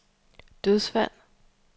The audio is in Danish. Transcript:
dødsfald